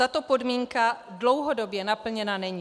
Tato podmínka dlouhodobě naplněna není.